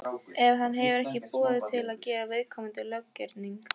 ef hann hefur ekki umboð til að gera viðkomandi löggerning.